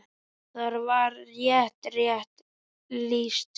Þar var þér rétt lýst!